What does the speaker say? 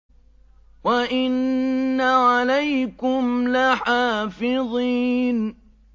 وَإِنَّ عَلَيْكُمْ لَحَافِظِينَ